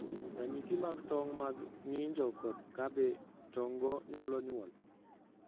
Ranyisi mag tong' mag ng'injo, kod kabe tong'go nyalo nyuol.